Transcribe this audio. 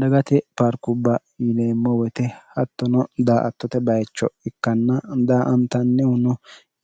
dagate paarkubba yineemmo woyite hattono daa attote bayicho ikkanna daa antannihuno